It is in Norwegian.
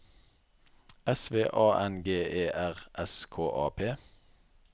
S V A N G E R S K A P